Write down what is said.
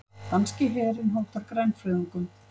Danski herinn hótar grænfriðungum